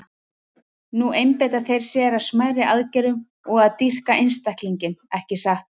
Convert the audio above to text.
Nú einbeita þeir sér að smærri aðgerðum og að dýrka einstaklinginn, ekki satt?